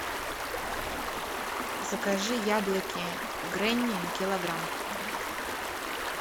закажи яблоки гренни килограмм